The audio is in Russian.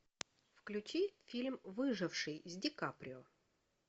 включи фильм выживший с ди каприо